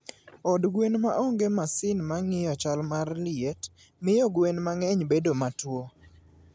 Od gwen ma onge masin mar ng'iyo chal mar liet, miyo gwen mang'eny bedo matuwo.